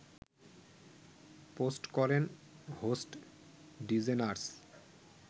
post করেন host DeGeneres